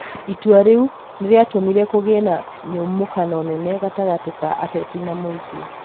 Itua rĩu nĩrĩatũmire kũgĩe na nyamũkano nene gatagatĩ ka ateti na mũingĩ